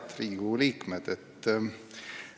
Head Riigikogu liikmed!